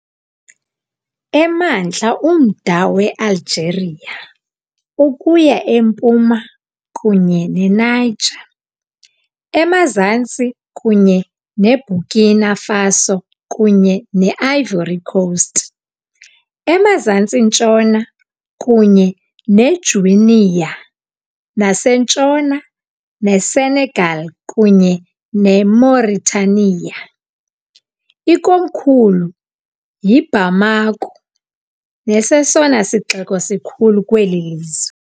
Emantla umda weAlgeria, ukuya empuma kunye neNiger, emazantsi kunye neBurkina Faso kunye ne-Ivory Coast, emazantsi-ntshona kunye neGuinea nasentshona neSenegal kunye neMauritania, ikomkhulu yiBamako, nesesona sixeko sikhulu kweli lizwe.